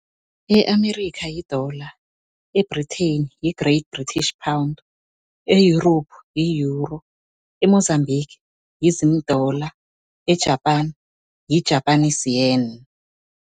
E-Amerika, yi-Dollar. E-Britain, yi-Great British Pound. E-Europe yi-Euro. E-Mozambique, yi-Zim dollar. E-Japan, yi-Japanese Yen.